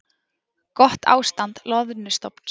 Gott ástand loðnustofns